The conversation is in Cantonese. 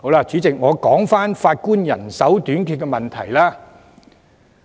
主席，我說回法官人手短缺的問題。